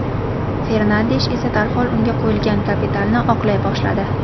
Fernandesh esa darhol unga qo‘yilgan kapitalni oqlay boshladi.